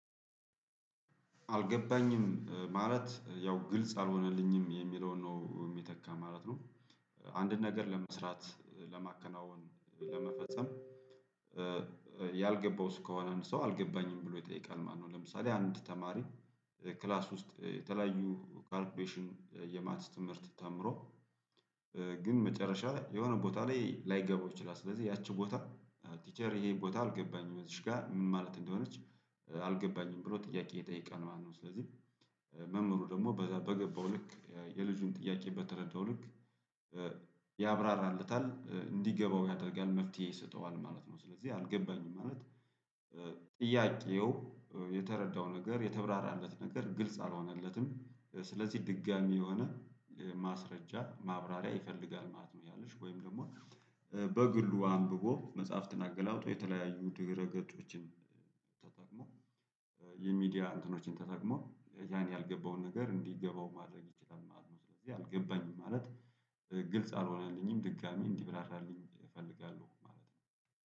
አልገባኝም ማለት ያው ግልጽ አልሆነልኝም የሚለውን ነው ሚተካ ማለት ነው። አንድን ነገር ለመስራት ለማከናወን ለመፈጸም በ ያልገባው እሱ ከሆነ ሰው አልገባኝም ብሎ ይጠይቃል ማነው ለምሳሌ አንድ ተማሪ። ክላስ ውስጥ የተለያዩ ኳልኩሌሽን የማትስ ትምህርት ተምሮ እ ግን መጨረሻ ላይ የሆነ ቦታ ላይ ላይገባው ይችላል ስለዚህ ያቺ ቦታ ቲቸር ይሄ ቦታ አልገባኝም እዚች ጋር ምን ማለት እንደሆነች አልገባኝም ብሎ ጥያቄ ይጠይቃል ማለት ነው። ስለዚህ መምህሩ ደግሞ በገባው ልክ የልጁን ጥያቄ በተረዳው ልክ በ ያብራራለታል እንዲገባው ያደርጋል መፍትሄ ይሰጠዋል ማለት ነው። ስለዚህ አልገባኝም ማለት ጥያቄው እ የተረዳው ነገር የተብራራለት ነገር ግልጽ አልሆነለትም እ ስለዚህ ድጋሜ የሆነ እ ማስረጃ ማብራሪያ ይፈልጋል ማለት ነው። ያ ልጅ ወይም ደግሞ እ በግሉ አንብቦ መጽሐፍትን አገላብጦ የተለያዩ ድረገጾችን ተጠቅሞ የሚዲያ እንትኖችን ተጠቅሞ ያን ያልገባውን ነገር እንዲገባው ማድረግ ይችላል ማለት ነው። ስለዚህ አልገባኝም ማለት ግልጽ አልሆነልኝም ድጋሚ እንዲብራራልኝ እፈልጋለሁ ማለት ነው